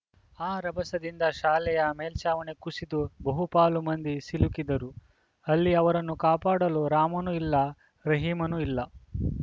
ಆ ರಭಸದಿಂದ ಶಾಲೆಯ ಮೇಲ್ಚಾವಣಿ ಕುಸಿದು ಬಹುಪಾಲು ಮಂದಿ ಸಿಲುಕಿದ್ದರು ಅಲ್ಲಿ ಅವರನ್ನು ಕಾಪಾಡಲು ರಾಮನೂ ಇಲ್ಲ ರಹೀಮನೂ ಇಲ್ಲ